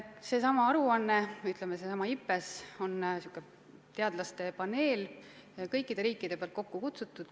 Seesama aruanne, ütleme, seesama IPBES on teadlaste paneel, kus osalevad kõik riigid.